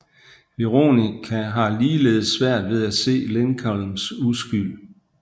Veronica har ligeledes svært ved at se Lincolns uskyld